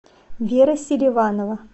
вера селиванова